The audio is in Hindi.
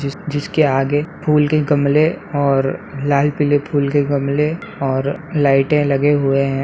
जि जिसके आगे फूल के गमले और लाल पीले फूल के गमले और लाइटे लगे हुए है।